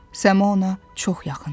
Səma ona çox yaxındır.